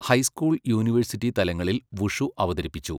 High school, university തലങ്ങളിൽ wushu അവതരിപ്പിച്ചു.